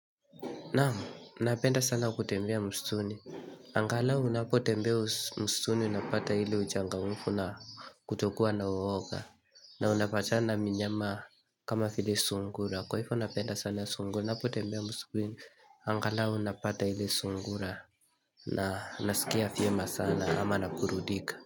Naam, napenda sana kutembea mstuni. Angalau unapotembea mstuni, unapata ile uchangamfu na kutokua na uwoga. Na unapatana minyama kama vile sungura. Kwa hivo napenda sana sungura, napotembea mstuni. Angala unapata hile sungura. Na nasikia vyema sana ama naburundika.